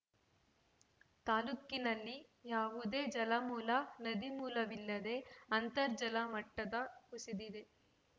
ತಾಲೂಕಿನಲ್ಲಿ ಯಾವುದೇ ಜಲಮೂಲ ನದಿ ಮೂಲವಿಲ್ಲದೇ ಅಂತರ್ಜಲ ಮಟ್ಟದ ಕುಸಿದಿದೆ